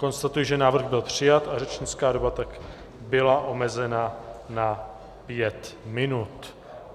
Konstatuji, že návrh byl přijat a řečnická doba tak byla omezena na pět minut.